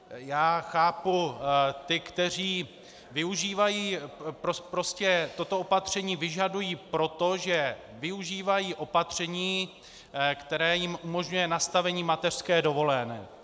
Já chápu ty, kteří využívají - prostě toto opatření vyžadují proto, že využívají opatření, které jim umožňuje nastavení mateřské dovolené.